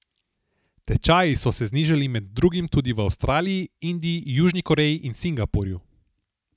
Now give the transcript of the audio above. Tečaji so se znižali med drugim tudi v Avstraliji, Indiji, Južni Koreji in Singapurju.